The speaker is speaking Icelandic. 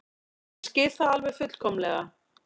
Ég skil það alveg fullkomlega.